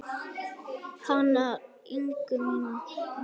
Hana Ingu mína.